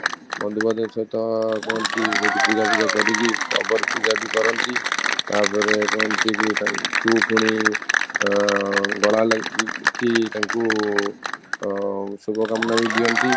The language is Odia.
ବନ୍ଧୁ ବାନ୍ଧବଙ୍କ ସହିତ କୁହନ୍ତି ସେଇଠି ପୂଜା କରିକି ଅଗର ପୂଜା ବି କରନ୍ତି ତାପରେ କହନ୍ତି କି ତାଙ୍କୁ ପୁଣି ଆଂ ଗଳା ଲାଗିକି ତାଙ୍କୁ ଅଂ ଶୁଭକାମନା ବି ଦିଅନ୍ତି